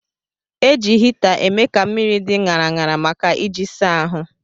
Eji hita eme ka mmiri dị ṅara ṅara maka iji saa ahụ.